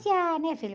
né, filho?